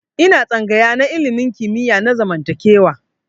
Ina tsangaya na ilimin kimiyya na zamantakewa.